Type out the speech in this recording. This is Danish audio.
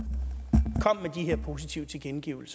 positive